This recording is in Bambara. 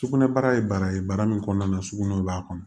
Sugunɛbara ye baara ye baara min kɔnɔna na sugunɛ b'a kɔnɔ